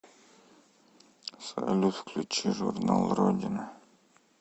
салют включи журнал родина